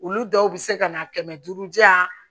Olu dɔw bɛ se ka na kɛmɛ duuru jan